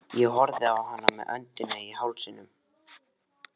Ég horfði á hana með öndina í hálsinum.